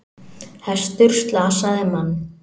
Hestur slasaði mann